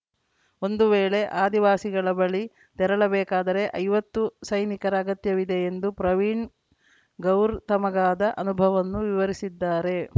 ಒಂದು ವೇಳೆ ಆದಿವಾಸಿಗಳ ಬಳಿ ತೆರಳಬೇಕಾದರೆ ಐವತ್ತು ಸೈನಿಕರ ಅಗತ್ಯವಿದೆ ಎಂದು ಪ್ರವೀಣ್‌ ಗೌರ್‌ ತಮಗಾದ ಅನುಭವವನ್ನು ವಿವರಿಸಿದ್ದಾರೆ